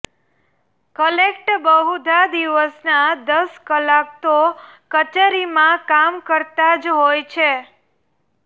collect બહુધા દિવસના દસ કલાક તો કચેરીમાં કામ કરતાં જ હોય છે